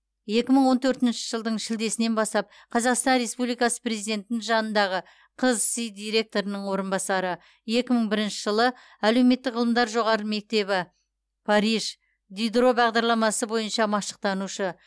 екі мың он төртінші жылдың шілдесінен бастап қазақстан республикасы президентінің жанындағы қсзи директорының орынбасары екі мың бірінші жылы әлеуметтік ғылымдар жоғары мектебі париж дидро бағдарламасы бойынша машықтанушы